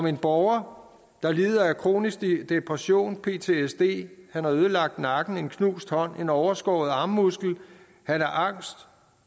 en borger der lider af kronisk depression og ptsd han har ødelagt nakken har en knust hånd en overskåret armmuskel han er angst